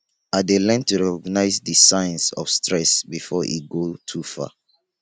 i dey learn to recognize di signs of stress before e go too far